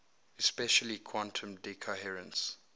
especially quantum decoherence